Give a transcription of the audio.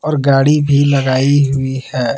और गाड़ी भी लगाई हुई है।